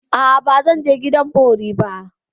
A'a, ba zan je gidan bori ba.